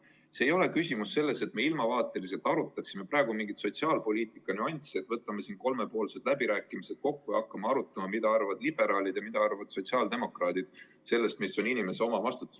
Küsimus ei ole praegu ju selles, et me ilmavaateliselt arutaksime mingit sotsiaalpoliitika nüanssi ning korraldaksime kolmepoolsed läbirääkimised ja hakkaksime arutama, mida arvavad liberaalid ja mida arvavad sotsiaaldemokraadid sellest, mis on inimese omavastutus.